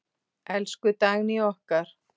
Elsku Dagný okkar.